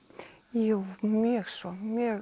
jú mjög svo